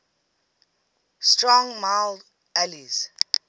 strong mild ales